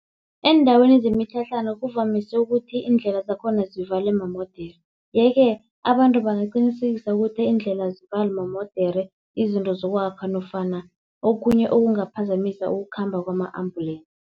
Eendaweni zemitlhatlhana kuvamise ukuthi iindlela zakhona zivalwe mamodere. Yeke abantu bangaqinisekisa ukuthi iindlela azivalwi mamodere, izinto zokwakha nofana okhunye okungaphazamisa ukukhamba kwama-ambulensi